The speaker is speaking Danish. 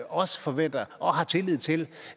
også forventer og har tillid til